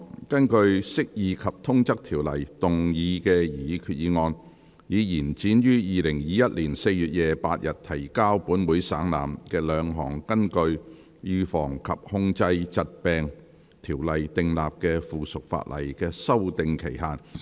根據《釋義及通則條例》動議擬議決議案，以延展於2021年4月28日提交本會省覽的兩項根據《預防及控制疾病條例》訂立的附屬法例的修訂期限。